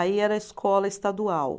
Aí era escola estadual.